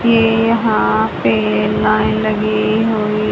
ये यहां पे लाइन लगी हुई--